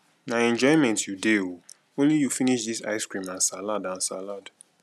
na enjoyment you dey oo only you finish dis ice cream and salad and salad